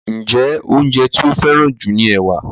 Njé oúnjẹ ti o feran ju ní ẹwà?